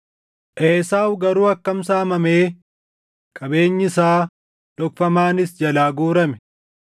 Esaawu garuu akkam saamamee qabeenyi isaa dhokfamaanis jalaa guurame!